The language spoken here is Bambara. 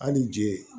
Hali ni je